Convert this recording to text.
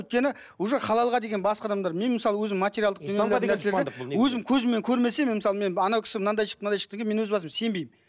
өйткені уже халалға деген басқа адамдар мен мысалы өзім материалдық өзім көзіммен көрмесем мен мысалы мен анау кісі мынадай шықты мынадай шықты дегенге мен өз басым сенбеймін